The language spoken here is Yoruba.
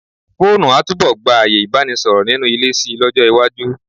Fóònù a túbọ̀ gba ààyè Ìbánisọ̀rọ̀ nínú ilé si lọ́jọ́ iwájú.